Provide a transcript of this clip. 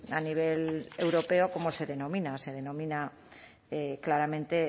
a nivel europeo cómo se denomina se denomina claramente